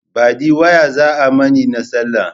Baɗi waya za ai mani na sallah.